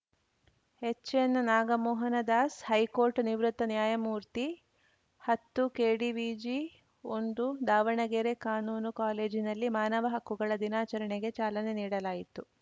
ಎಚ್‌ಎನ್‌ನಾಗಮೋಹನ Das high court ನಿವೃತ್ತ ನ್ಯಾಯಮೂರ್ತಿ ಹತ್ತು ಕೆಡಿವಿಜಿ ಒಂದು ದಾವಣಗೆರೆ ಕಾನೂನು ಕಾಲೇಜಿನಲ್ಲಿ ಮಾನವ ಹಕ್ಕುಗಳ ದಿನಾಚರಣೆಗೆ ಚಾಲನೆ ನೀಡಲಾಯಿತು